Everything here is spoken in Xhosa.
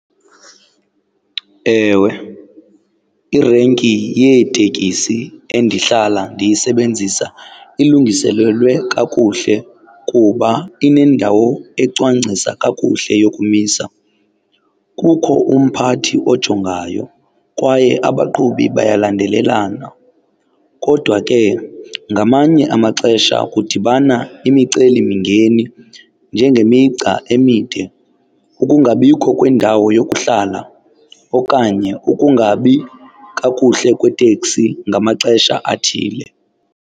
Ewe, irenki yeetekisi endihlala ndiyisebenzisa ilungiselelwe kakuhle kuba inendawo ecwangcisa kakuhle yokumisa. Kukho umphathi ojongayo kwaye abaqhubi bayalandelelana. Kodwa ke ngamanye amaxesha kudibana imicelimingeni njengemigca emide, ukungabikho kwendawo yokuhlala okanye ukungabi kakuhle kweteksi ngamaxesha athile.